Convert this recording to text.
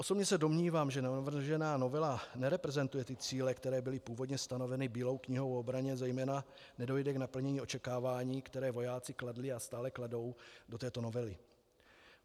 Osobně se domnívám, že navržená novela nereprezentuje cíle, které byly původně stanoveny Bílou knihou o obraně, zejména nedojde k naplnění očekávání, které vojáci kladli a stále kladou do této novely.